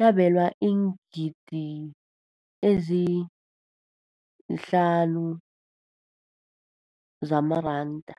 yabelwa iingidigidi ezi-5 703 zamaranda.